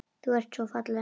Þú ert svo falleg.